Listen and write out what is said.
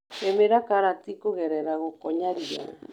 Rĩmĩra karati kũgerera gũkonya ria.